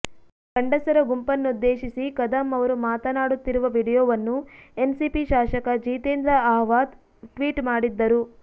ಗಂಡಸರ ಗುಂಪನ್ನುದ್ದೇಶಿಸಿ ಕದಂ ಅವರು ಮಾತನಾಡುತ್ತಿರುವ ವಿಡಿಯೊವನ್ನು ಎನ್ಸಿಪಿ ಶಾಸಕ ಜಿತೇಂದ್ರ ಅಹ್ವಾದ್ ಟ್ವೀಟ್ ಮಾಡಿದ್ದರು